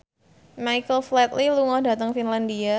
Michael Flatley lunga dhateng Finlandia